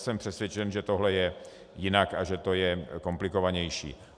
Jsem přesvědčen, že tohle je jinak a že to je komplikovanější.